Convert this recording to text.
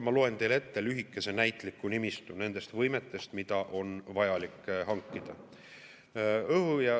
Ma loen teile ette lühikese näitliku nimistu nendest võimetest, mis on vajalik hankida.